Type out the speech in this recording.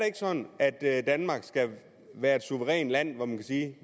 ikke sådan at at danmark skal være et suverænt land hvor man kan sige